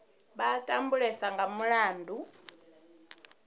vha a tambulesa nga mulandu